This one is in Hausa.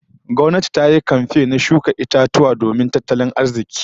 Gwamnati ta yi kamfen na shuka itatuwa masu alfanun tattalin arzikin ga jama'a